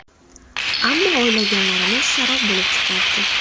Ammo o‘ylaganlarimiz sarob bo‘lib chiqyapti.